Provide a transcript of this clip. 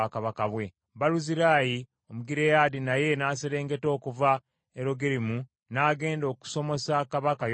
Baluzirayi Omugireyaadi naye n’aserengeta okuva e Logerimu n’agenda okusomosa kabaka, Yoludaani.